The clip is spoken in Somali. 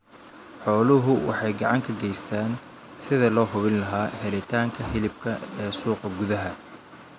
Xooluhu waxay gacan ka geystaan ??sidii loo hubin lahaa helitaanka hilibka ee suuqa gudaha.